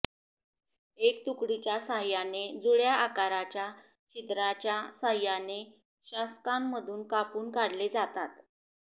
एक तुकडीच्या सहाय्याने जुळ्या आकाराच्या छिद्राच्या सहाय्याने शासकांमधून कापून काढले जातात